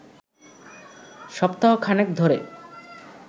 সপ্তাহ খানেক ধরে